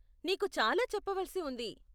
నీకు చాలా చెప్పవలసి ఉంది.